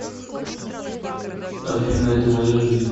афина это моя жизнь